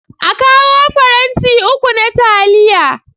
A kawo faranti uku na taliya.